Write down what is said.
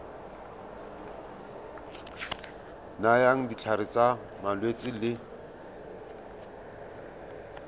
nayang ditlhare tsa malwetse le